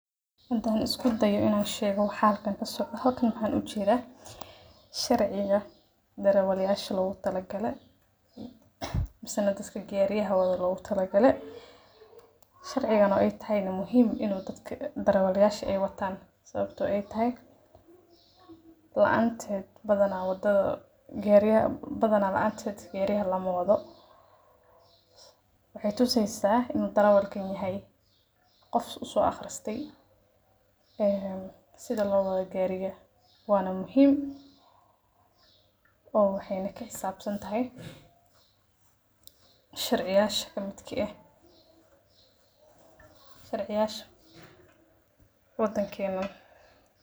Hadaan isku dayo waxa halkan ka socdo, halkan waxaan ugu jeedaa sharciga darawalyasha loogu tala galay mise dadka gawaarida wado loogu tala galay. Sharcigan oo ay tahay in darawaliinta gawaarida muhiim tahay in ay wataan, sababtoo ah la’aantiis badanaa gaariga lama wado. Waxay tusaysaa in darawalka uu yahay qof u soo akhriyay sida loo wado gaariga, waana muhiim. Waxayna ka xisaabsan tahay sharciyada ka mid ah sharciyada waddankeena.